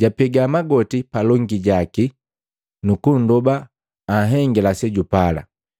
jwapega magoti palongi jaki nukunndoba anhengila sejupala.